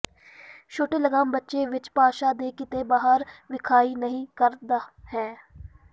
ਛੋਟੇ ਲਗਾਮ ਬੱਚੇ ਵਿਚ ਭਾਸ਼ਾ ਦੇ ਕਿਤੇ ਬਾਹਰ ਵਿਖਾਈ ਨਹੀ ਕਰਦਾ ਹੈ